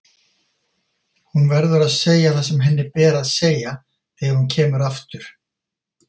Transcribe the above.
Hún verður að segja það sem henni ber að segja þegar hún kemur aftur.